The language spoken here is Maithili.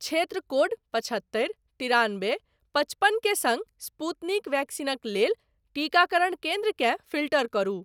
क्षेत्र कोड पचहत्तरि तिरानबे पचपन के सङ्ग स्पूतनिक वैक्सीनक लेल टीकाकरण केन्द्रकेँ फ़िल्टर करु।